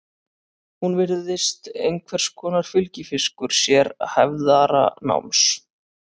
Hún virðist einhvers konar fylgifiskur sérhæfðara náms.